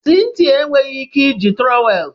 Cynthia enweghị ike iji trowel